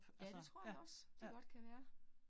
Ja det tror jeg også, de godt kan være